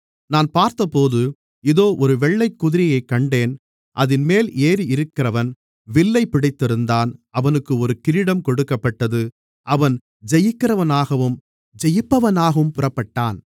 நான் பார்த்தபோது இதோ ஒரு வெள்ளைக்குதிரையைக் கண்டேன் அதின்மேல் ஏறியிருந்தவன் வில்லைப் பிடித்திருந்தான் அவனுக்கு ஒரு கிரீடம் கொடுக்கப்பட்டது அவன் ஜெயிக்கிறவனாகவும் ஜெயிப்பவனாகவும் புறப்பட்டான்